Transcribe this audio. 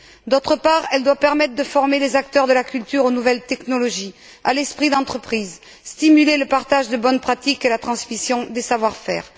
D'autre part, elle doit permettre de former les acteurs de la culture aux nouvelles technologies, à l'esprit d'entreprise, stimuler le partage des bonnes pratiques et la transmission des savoir faire.